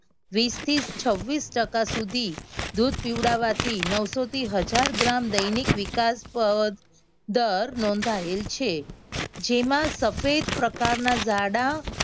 વીસ થી છવ્વીસ ટકા સુધી દૂધ પીવડાવવાથી નવસો થી હજાર ગ્રામ દૈનિક વિકાસ દર નોંધાયેલ છે. જેમાં સફેદ પ્રકારના જાડા